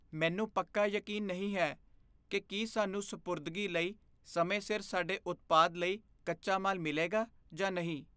ਮੈਨੂੰ ਪੱਕਾ ਯਕੀਨ ਨਹੀਂ ਹੈ ਕਿ ਕੀ ਸਾਨੂੰ ਸਪੁਰਦਗੀ ਲਈ ਸਮੇਂ ਸਿਰ ਸਾਡੇ ਉਤਪਾਦ ਲਈ ਕੱਚਾ ਮਾਲ ਮਿਲੇਗਾ ਜਾਂ ਨਹੀਂ।